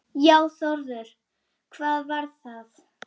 Já Þórður, hvað var það?